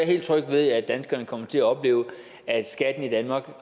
helt tryg ved at danskerne kommer til at opleve at skatten i danmark